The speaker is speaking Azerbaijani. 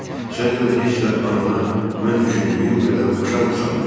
Sən demə heç də anana mən düşündüyüm qədər oxşamırsanmış.